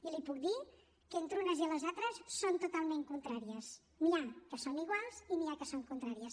i li puc dir que entre unes i les altres són totalment contràries n’hi ha que són iguals i n’hi ha que són contràries